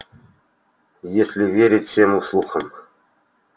если верить всем слухам